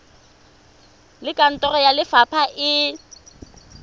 le kantoro ya lefapha e